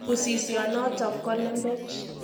Usisionotok ko lembech.